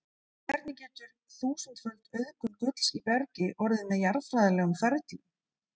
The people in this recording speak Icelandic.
En hvernig getur þúsundföld auðgun gulls í bergi orðið með jarðfræðilegum ferlum?